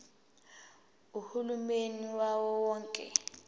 uhulumeni wawo wonke